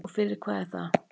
Og fyrir hvað er það?